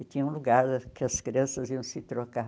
E tinha um lugar que as crianças iam se trocar.